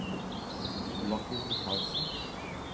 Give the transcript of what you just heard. Joachim Michaelsen